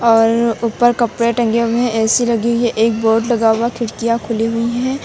और ऊपर कपड़े टंगे हुए है ए_सी लगी है एक बोर्ड लगा हुआ खिड़कियां खुली हुई है।